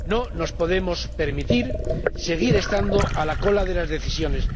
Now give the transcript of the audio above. No nos podemos permitir seguir estando a la cola de las decisiones.